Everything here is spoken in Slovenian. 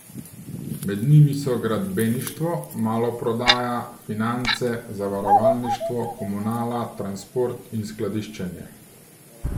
Med njimi so gradbeništvo, maloprodaja, finance, zavarovalništvo, komunala, transport in skladiščenje.